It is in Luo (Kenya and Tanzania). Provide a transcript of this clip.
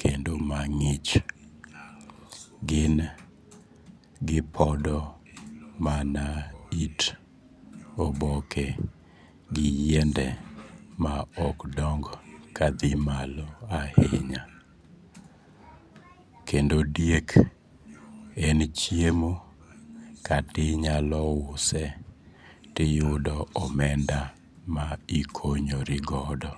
kendo mang'ich. Gin gipodo mana it oboke gi yiende ma ok dong kadhi malo ainya. Kendo diek en chiemo katinyalouse tiyudo omenda ma ikonyori godo.